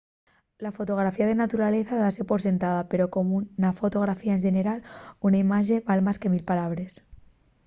la fotografía de naturaleza dase por sentada pero como na fotografía en xeneral una imaxe val más que mil palabres